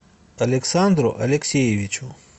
александру алексеевичу